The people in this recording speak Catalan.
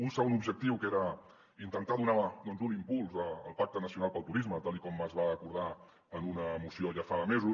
un segon objectiu que era intentar donar un impuls al pacte nacional pel turisme tal com es va acordar en una moció ja fa mesos